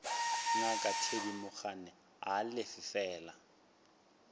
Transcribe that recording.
ngaka thedimogane a lefe fela